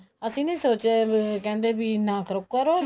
ਅਸੀਂ ਨੀ ਸੋਚਿਆ ਵੀ ਕਹਿੰਦੇ ਵੀ ਨਾ ਕਰੋ ਕਰੋ